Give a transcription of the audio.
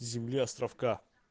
земля островка